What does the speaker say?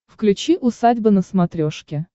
включи усадьба на смотрешке